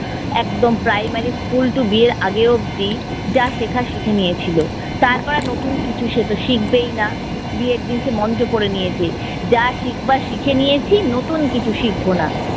একদম primary school to বিয়ের আগে অব্দি যা শেখার শিখে নিয়েছিল, তারপর আর নতুন কিছু সেতো শিখবেই না। বিয়ের দিন সে মন্ত্র পড়ে নিয়েছে যা শিখাবার শিখে নিয়েছি, নতুন কিছু শিখবো না।